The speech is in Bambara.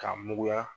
K'a muguya